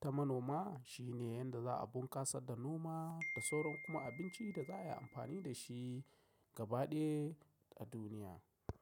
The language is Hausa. ta manoma shine yanda za a bunkasa da noma da sauran kuma abinci da za a yi amfani da shi gaba ɗaya a duniya.